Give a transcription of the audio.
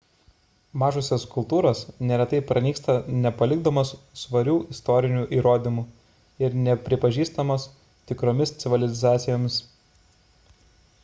mažosios kultūros ne retai pranyksta nepalikdamos svarių istorinių įrodymų ir nepripažįstamos tikromis civilizacijomis